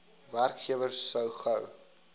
werkgewer so gou